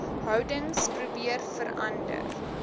houdings probeer verander